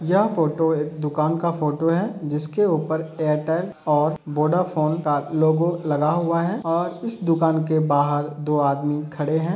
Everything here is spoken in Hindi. यह फ़ोटो एक दुकान का फ़ोटो है जिसके ऊपर एयरटेल और वोडाफोन का लोगो लगा हुआ है और इस दुकान के बाहर दो आदमी खड़े हैं।